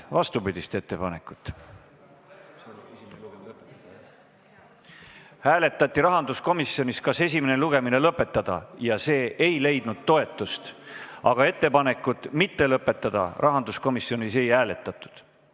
Rahanduskomisjonis hääletati, kas esimene lugemine lõpetada, ja see ei leidnud toetust, aga ettepanekut mitte lõpetada rahanduskomisjonis ei hääletatud.